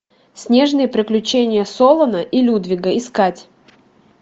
снежные приключения солана и людвига искать